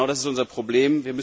Genau das ist unser Problem.